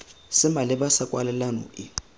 se maleba sa kwalelano e